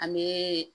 An bɛ